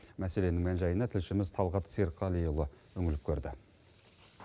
мәселенің мән жайына тілшіміз талғат серікқалиұлы үңіліп көрді